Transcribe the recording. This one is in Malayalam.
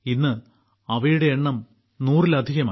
ഇന്ന് അവയുടെ എണ്ണം നൂറിലധികം ആയി